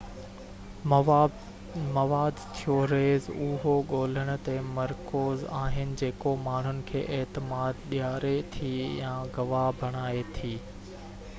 مواد ٿيوريز اهو ڳولڻ تي مرڪوز آهن جيڪو ماڻهن کي اعتماد ڏياري ٿي يا گواهه بڻائي ٿي